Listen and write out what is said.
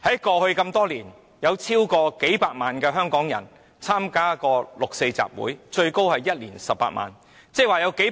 過去多年，有超過數百萬香港人曾參加六四集會，最多參加者的一年有18萬人參與。